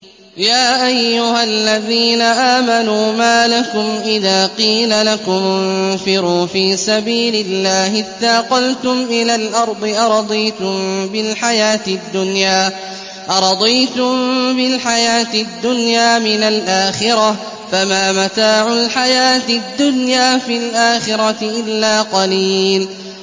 يَا أَيُّهَا الَّذِينَ آمَنُوا مَا لَكُمْ إِذَا قِيلَ لَكُمُ انفِرُوا فِي سَبِيلِ اللَّهِ اثَّاقَلْتُمْ إِلَى الْأَرْضِ ۚ أَرَضِيتُم بِالْحَيَاةِ الدُّنْيَا مِنَ الْآخِرَةِ ۚ فَمَا مَتَاعُ الْحَيَاةِ الدُّنْيَا فِي الْآخِرَةِ إِلَّا قَلِيلٌ